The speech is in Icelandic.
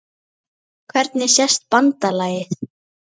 Hvernig sést BANDALAGIÐ?